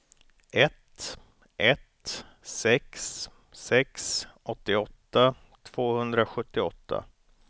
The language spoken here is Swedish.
ett ett sex sex åttioåtta tvåhundrasjuttioåtta